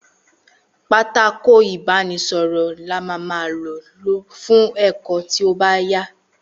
Pátákó ìbánísõrõ ni á má má ló fun èkó tío báyà